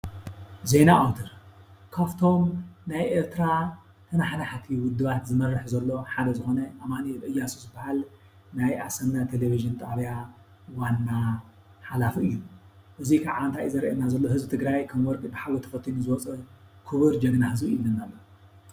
ዜና ኣውታር:‑ ካፍቶም ናይ ኤርትራ ተናሓናሕቲ ዉድባት ዝመርሕ ዘሎ ሓደ ዝኾነ ኣማኒኤል እያሱ ዝብሃል ናይ ኣሰና ቴሌቭዥን ጣብያ ዋና ሓላፊ እዩ። እዙይ ክዓ እንታይ እዩ ዘርእየና ዘሎ ህዝቢ ትግራይ ከም ወርቂ ብሓዊ ተፈቲኑ ዝወፀ ክብር ጅግና ህዝቢ እዩ ይብለና ኣሎ።